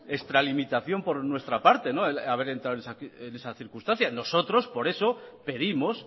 extralimitación por nuestra parte el haber entrado en esa circunstancia nosotros por eso pedimos